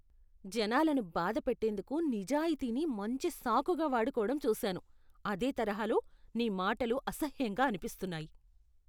జనాలను బాధపెట్టేందుకు నిజాయితీని మంచి సాకుగా వాడుకోవడం చూశాను, అదే తరహాలో, నీ మాటలు అసహ్యంగా అనిపిస్తున్నాయి.